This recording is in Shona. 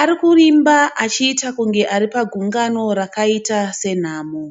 ari kurimba achiita kunge ari pagungano rakaita senhamo.